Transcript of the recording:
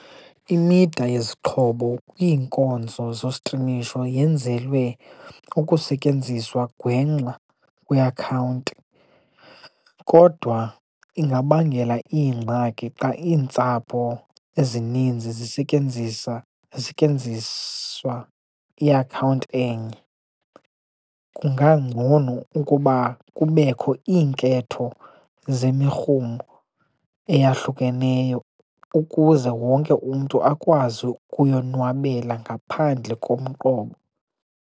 Imida yezixhobo kwiinkonzo zostrimisho yenzelwe ukusetyenziswa gwengxa kwiakhawunti, kodwa ingabangela iingxaki xa iintsapho ezininzi zisetyenziswa iakhawunti enye. Kungangcono ukuba kubekho iinketho zemirhumo eyahlukeneyo ukuze wonke umntu akwazi ukuyonwabela ngaphandle komqobo.